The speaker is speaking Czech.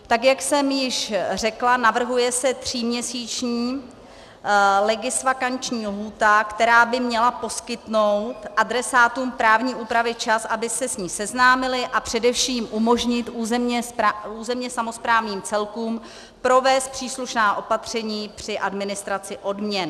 Tak jak jsem již řekla, navrhuje se tříměsíční legisvakanční lhůta, která by měla poskytnout adresátům právní úpravy čas, aby se s ní seznámili, a především umožnit územně samosprávným celkům provést příslušná opatření při administraci odměn.